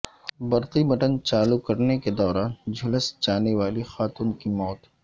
برقی بٹن چالو کرنے کے دوران جھلس جانے والی خاتون کی موت